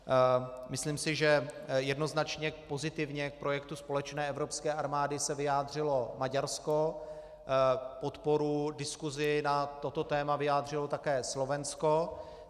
Myslím si, že jednoznačně pozitivně k projektu společné evropské armády se vyjádřilo Maďarsko, podporu diskusi na toto téma vyjádřilo také Slovensko.